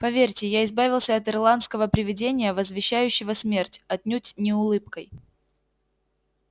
поверьте я избавился от ирландского привидения возвещающего смерть отнюдь не улыбкой